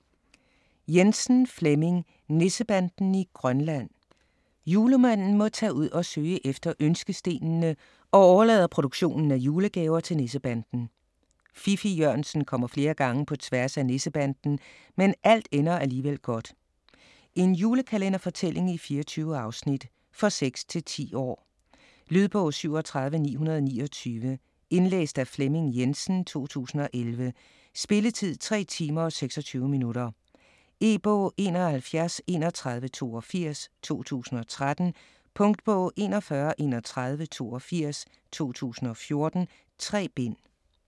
Jensen, Flemming: Nissebanden i Grønland Julemanden må tage ud for at søge efter ønskestenene og overlader produktionen af julegaver til Nissebanden. Fiffig-Jørgensen kommer flere gange på tværs af Nissebanden, men alt ender alligevel godt. En julekalenderfortælling i 24 afsnit. For 6-10 år. Lydbog 37929 Indlæst af Flemming Jensen, 2011. Spilletid: 3 timer, 26 minutter. E-bog 713182 2013. Punktbog 413182 2014. 3 bind.